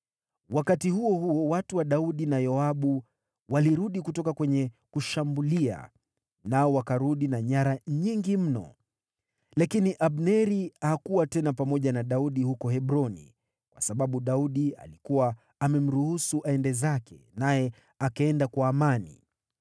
Wakati huo huo, watu wa Daudi na Yoabu walirudi kutoka kwenye kushambulia, nao wakarudi na nyara nyingi mno. Lakini Abneri hakuwa tena pamoja na Daudi huko Hebroni, kwa sababu Daudi alikuwa amemruhusu aende zake, naye akaenda kwa amani.